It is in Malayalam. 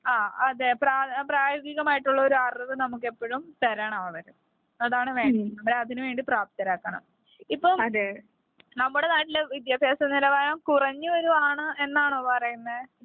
അതെ പ്രായോഗികമായിട്ട് ഉള്ള ഒരു അറിവ്നമുക്ക് എപ്പോഴും തരണം അവർ അതാണ് വേണ്ടത് നമ്മളെ അതിനുവേണ്ടി പ്രാപ്തരാകണം ഇപ്പം നമ്മുടെ നാട്ടിലെ വിദ്യാഭ്യാസ നിലവാരം കുറഞ്ഞു വരുവാണ് എന്നാണോ പറയുന്നത്.